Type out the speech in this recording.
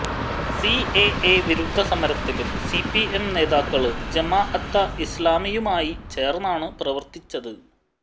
CAA വിരുദ്ധ സമരത്തിലും CPM നേതാക്കള് ജമാഅത്തെ ഇസ്ലാമിയുമായി ചേര്ന്നാണ് പ്രവര്ത്തിച്ചത്